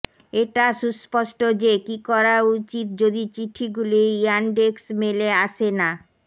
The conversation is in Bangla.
এটা সুস্পষ্ট যে কি করা উচিত যদি চিঠিগুলি ইয়ানডেক্স মেলে আসে না